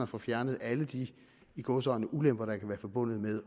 får fjernet alle de i gåseøjne ulemper der kan være forbundet med